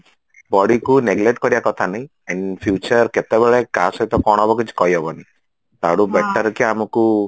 bodyକୁ neglect କରିବା କଥା ନାଇଁ and future କେତେବେଳେ କାହା ସହିତ କଣ ହବ କିଛି କହିହବନି ତାଠୁ batter କି ଆମକୁ